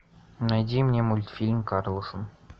найди мне мультфильм карлсон